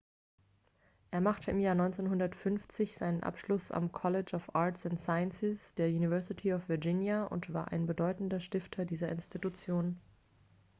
er machte im jahr 1950 seinen abschluss am college of arts & sciences der university of virginia und war ein bedeutender stifter dieser institution